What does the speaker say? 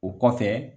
O kɔfɛ